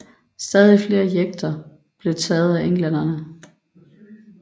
Stadig flere jekter blev taget af englænderne